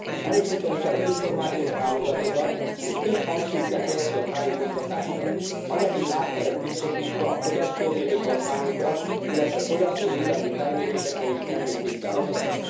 Erősíteni kell az információs hálózatokat, és több hangsúlyt kell helyezni a tájékoztatásra, anyagi hátteret biztosítva a fogyasztóvédő kampányokra, illetve fogyasztóvédelmi felmérésekre és termékvizsgálatokra.